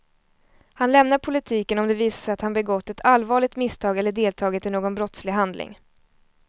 Han lämnar politiken om det visar sig att han begått ett allvarligt misstag eller deltagit i någon brottslig handling.